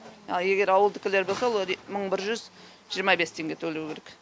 ал егер ауылдікілер болса олар мың бір жүз жиырма бес теңге төлеу керек